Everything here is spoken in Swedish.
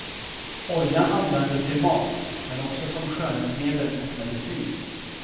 Oljan användes till mat, men också som skönhetsmedel och medicin.